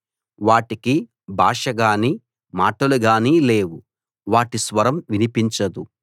వాటికి భాష గాని మాటలు గాని లేవు వాటి స్వరం వినిపించదు